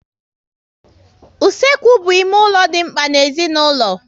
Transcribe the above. Usekwu bụ ime ụlọ dị mkpa n'ezinaulo